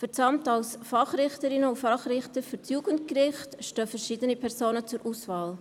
Für das Amt als Fachrichterin und Fachrichter für das Jugendgericht stehen verschiedene Personen zur Auswahl.